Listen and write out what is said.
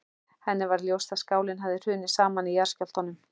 Henni varð ljóst að skálinn hafði hrunið saman í jarðskjálftunum.